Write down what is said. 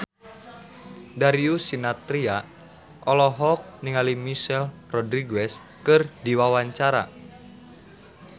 Darius Sinathrya olohok ningali Michelle Rodriguez keur diwawancara